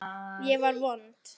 Ég var vond.